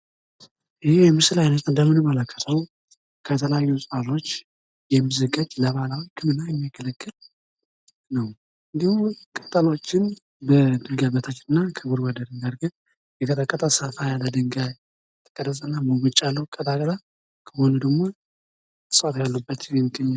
ይህ የምስል አይነት እንደምንመለከተው ከተለያዩ እጽዋቶች የሚዘጋጅ ለባህላዊ ህክምና የሚያገለግል ነው ፤ እንዲሁም ቅጠሎችን በድንጋ በታች እና ከጎርጓዳ ድንጋይ አርገን ፤ የተቀጠቀጠ ሰፋ ያለ ድንጋይ ቅርጽ እና ሙሙጭ ያለዉ ቀጣጥላ ድንጋይ እጽዋት የሚገኙት ነው።